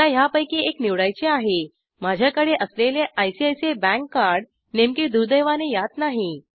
मला ह्यापैकी एक निवडायचे आहे माझ्याकडे असलेले आयसीआयसीआय बँक कार्ड नेमके दुर्दैवाने यात नाही